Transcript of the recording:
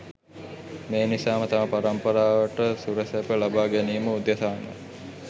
මේ නිසාම තම පරම්පරාවට සුරසැප ලබා ගැනීම උදෙසාම